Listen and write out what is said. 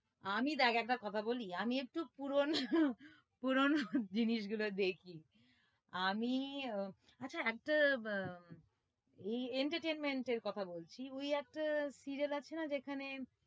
আমি দেখ একটা কথা বলি আমি একটু পুরনো পুরনো জিনিস গুলো দেখি আমি আহ আচ্ছা একটা আহ entertainment এর কথা বলছি ওই একটা serial আছে না যেখানে?